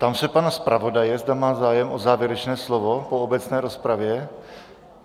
Ptám se pana zpravodaje, zda má zájem o závěrečné slovo po obecné rozpravě.